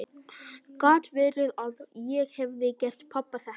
Gat verið að ég hefði gert pabba þetta?